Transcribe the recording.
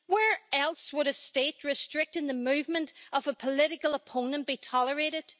Where else would a state restricting the movement of a political opponent be tolerated?